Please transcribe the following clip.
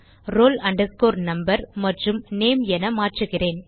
roll number மற்றும் name என மாற்றுகிறேன்